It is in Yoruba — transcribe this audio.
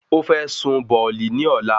Ó fẹ́ sun bọ̀ọ̀lì ní ọ̀la